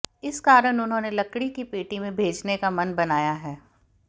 इस कारण उन्होंने लकड़ी की पेटी में भेजने का मन बनाया है